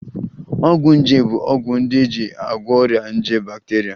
Ọgwụ nje bụ ọgwụ ndị e ji agwọ ọrịa nje bakteria